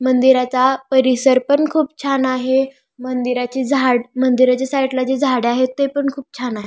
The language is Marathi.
मंदिराचा परिसर पण खूप छान आहे मंदिरा ची झाड मंदिराच्या साईडला जी झाड आहेते पण खूप छान आहे.